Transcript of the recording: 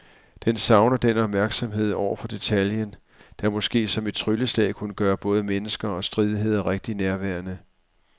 Den savner den opmærksomhed over for detaljen, der måske som et trylleslag kunne gøre både mennesker og stridigheder rigtig nærværende.